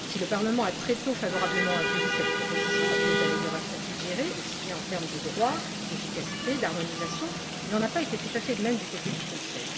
Si le Parlement a, très tôt, accueilli favorablement cette proposition et les améliorations suggérées aussi bien en termes de droit et d'efficacité que d'harmonisation, il n'en a pas été tout à fait de même du côté du Conseil.